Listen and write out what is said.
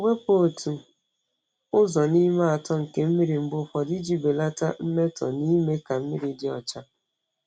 Wepụ otu ụzọ n’ime atọ nke mmiri mgbe ụfọdụ iji belata mmetọ na ime ka mmiri dị ọcha.